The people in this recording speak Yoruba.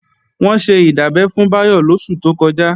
Wọ́n ṣe ìdábẹ́ fún Báyọ̀ lóṣù tó kọjá